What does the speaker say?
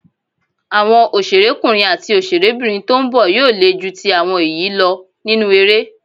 Àwọn òṣèrékùnrin àti òṣèrébìnrin tó ń bọ̀ yóò le ju ti àwọn èyí lọ nínú eré.